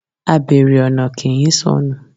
Abère ọna ki ń sọnú